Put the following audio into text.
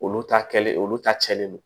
Olu ta kɛlen olu ta cɛlen don